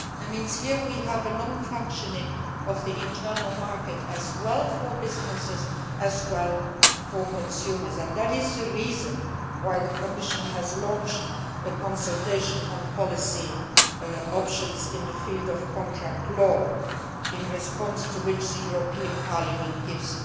That means that we have here a non functioning of the Internal Market both for businesses and for consumers. That is the reason why the Commission has launched a consultation on policy options in the field of contract law, in response to which Parliament is giving